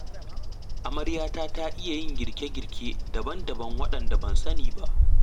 Amaryata ta iya yin girke-girke daban-daban waɗanda ban sani ba.